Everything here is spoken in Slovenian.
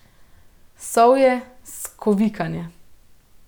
Sovje skovikanje.